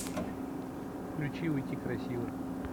включи уйти красиво